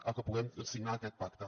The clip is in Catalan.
a que puguem signar aquest pacte